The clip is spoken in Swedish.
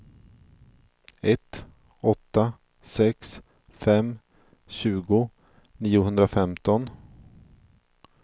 ett åtta sex fem tjugo niohundrafemton